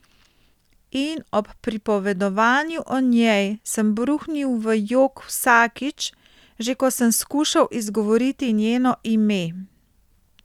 In ob pripovedovanju o njej sem bruhnil v jok vsakič, že ko sem skušal izgovoriti njeno ime.